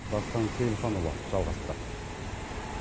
дастан сейілханұлы жалғастырады